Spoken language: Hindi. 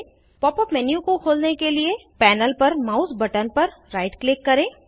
pop यूपी मेन्यू को खोलने के लिए पैनल पर माउस बटन पर राइट क्लिक करें